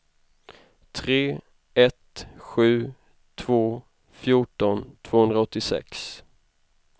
tre ett sju två fjorton tvåhundraåttiosex